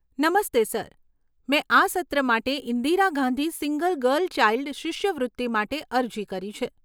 નમસ્તે સર, મેં આ સત્ર માટે Indira Gandhi single girl child શિષ્યવૃત્તિ માટે અરજી કરી છે.